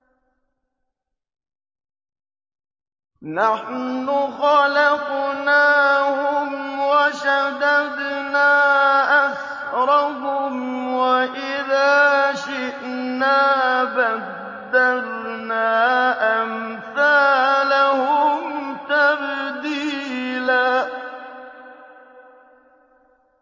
نَّحْنُ خَلَقْنَاهُمْ وَشَدَدْنَا أَسْرَهُمْ ۖ وَإِذَا شِئْنَا بَدَّلْنَا أَمْثَالَهُمْ تَبْدِيلًا